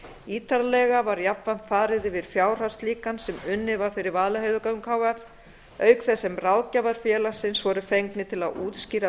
ítarlega var jafnframt farið yfir fjárhagslíkan sem unnið var fyrir vaðlaheiðargöng h f auk þess sem ráðgjafar félagsins voru fengnir til að útskýra